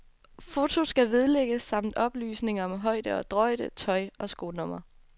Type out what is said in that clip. Foto skal vedlægges samt oplysninger om høje og drøjde, tøj og skonummer.